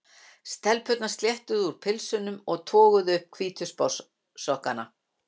Stelpurnar sléttuðu úr pilsunum og toguðu upp hvítu sportsokkana.